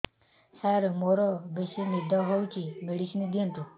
ସାର ମୋରୋ ବେସି ନିଦ ହଉଚି ମେଡିସିନ ଦିଅନ୍ତୁ